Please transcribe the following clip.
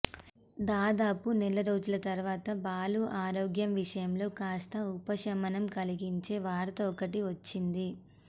దాదాపు నెల రోజుల తర్వాత బాలు ఆరోగ్యం విషయంలో కాస్త ఉపశమనం కలిగించే వార్త ఒకటి వచ్చింది